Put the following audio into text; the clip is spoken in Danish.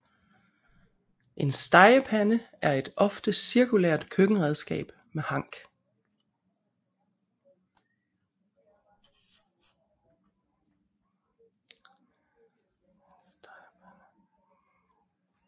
En stegepande er et ofte cirkulært køkkenredskab med hank